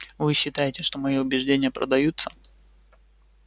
вы считаете что мои убеждения продаются